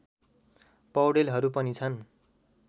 पौडेलहरू पनि छन्